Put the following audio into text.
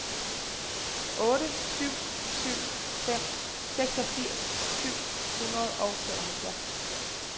otte syv syv fem seksogfirs syv hundrede og femoghalvfjerds